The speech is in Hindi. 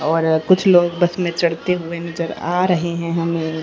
और कुछ लोग बस मे चढ़ते हुए नजर आ रहे है हमे।